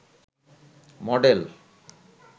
model